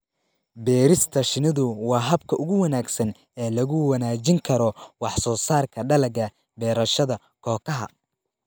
Beerista shinnidu waa habka ugu wanaagsan ee lagu wanaajin karo wax soo saarka dalagga beerashada kookaha.